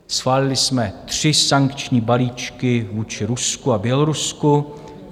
Schválili jsme tři sankční balíčky vůči Rusku a Bělorusku.